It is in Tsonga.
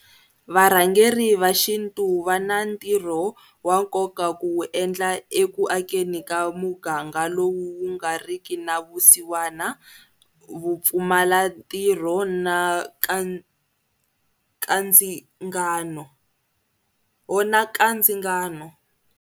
Varhangeri va xintu va na ntirho wa nkoka ku wu endla eku akeni ka muganga lowu wu nga ri ki na vusiwana, vupfumalantirho na nkandzingano.